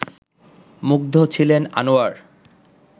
মুগ্ধ ছিলেন আনোয়ার